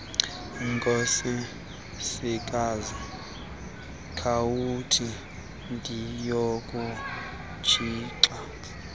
nkosikazi khawuthi ndiyokutshixa